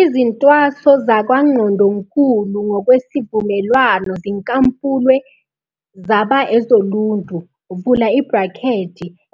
Izintwaso zakwaNgqondonkulu ngokwesivumelwano zinkampulwe zaba ezoluntu,